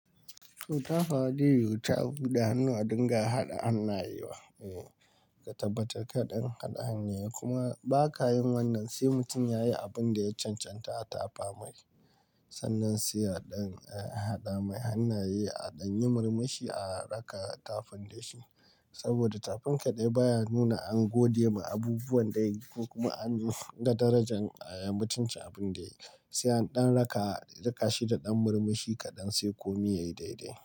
Tafa bai wuce a buɗe hannuwa dinga haɗa hannayewa. Eh, ka tabbatar kaɗan haɗa hannaye kuma ba ka yin wannan sai mutum ya yi abin da ya cancanta a tafa miki. Sannan sai a ɗan haɗa mai hannaye a ɗan yi murmushi a rika tafin da shi. Saboda tafin kaɗai baya nuna an gode ma abubuwan da yayi ko kuma anga darajan eh mutuncin abin da yayi sai an ɗan raka shi da ɗan murmushi kaɗan sai komai yayi daidai.